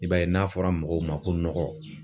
I b'a ye n'a fɔra mɔgɔw ma ko nɔgɔ